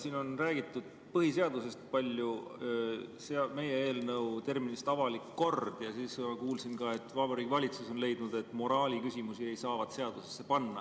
Siin on räägitud palju põhiseadusest ja meie eelnõu terminist "avalik kord", samuti kuulsin, et Vabariigi Valitsus on leidnud, et moraaliküsimusi ei saavat seadusesse panna.